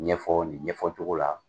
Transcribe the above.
Ɲɛfɔ ni ɲɛfɔ cogo la.